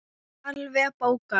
Alveg bókað!